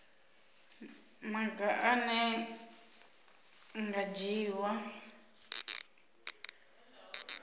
maga ane a nga dzhiiwa